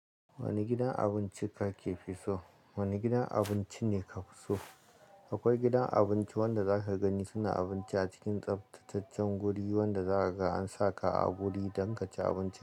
Wane gidan abinci kake so? Wane gidan abinci ne ka fi so? Akwai gidan abinci wanda za ka gani suna abinci a cikin tsaftataccen guri wanda za a sa ka a guri don ka ci abincin ka.